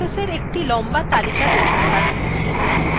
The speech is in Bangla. আমরা processeswe একটি লম্বা তালিকা দেখতে পাচ্ছি